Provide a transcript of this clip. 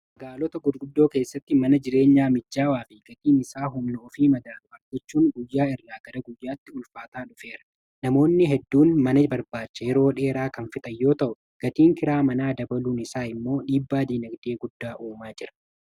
magaalota gudguddoo keessatti mana jireenyaa mijaawaa fi gatiin isaa humna ofii madaalu argachuun guyyaa irraa gara guyyaatti ulfaataa dhufeera namoonni hedduun mana barbaacha yeroo dheeraa kan fixan yoo ta'u gatiin kiraa manaa dabaluun isaa immoo dhiibbaadinagdee guddaa uumaa jira